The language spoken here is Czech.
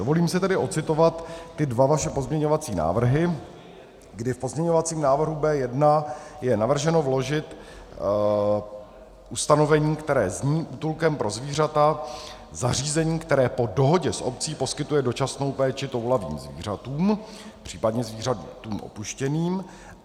Dovolím si tady ocitovat dva vaše pozměňovací návrhy, kdy v pozměňovacím návrhu B1 je navrženo vložit ustanovení, které zní "útulkem pro zvířata zařízení, které po dohodě s obcí poskytuje dočasnou péči toulavým zvířatům, případně zvířatům opuštěným".